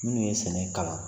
Minnu ye sɛnɛ kalan